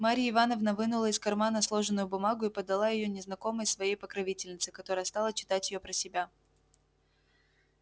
марья ивановна вынула из кармана сложенную бумагу и подала её незнакомой своей покровительнице которая стала читать её про себя